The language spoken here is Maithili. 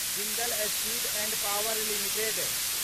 Jindal steel and power limited